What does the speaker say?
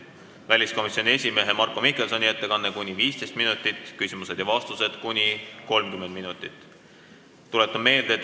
Seejärel tuleb väliskomisjoni esimehe Marko Mihkelsoni ettekanne kuni 15 minutit, millele järgnevad küsimused ja vastused kuni 30 minutit.